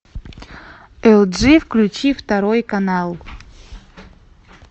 элджи включи второй канал